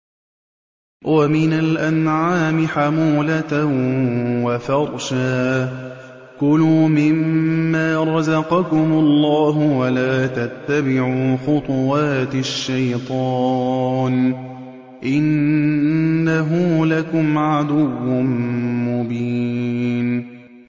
وَمِنَ الْأَنْعَامِ حَمُولَةً وَفَرْشًا ۚ كُلُوا مِمَّا رَزَقَكُمُ اللَّهُ وَلَا تَتَّبِعُوا خُطُوَاتِ الشَّيْطَانِ ۚ إِنَّهُ لَكُمْ عَدُوٌّ مُّبِينٌ